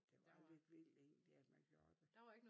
Det var lidt vildt egentlig at man gjorde det